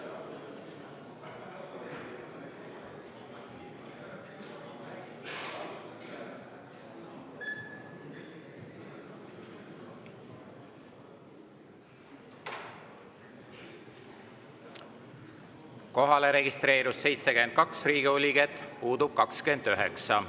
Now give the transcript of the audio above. Kohalolijaks registreerus 72 Riigikogu liiget, puudub 29.